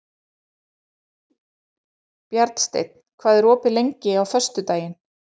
Bjarnsteinn, hvað er opið lengi á föstudaginn?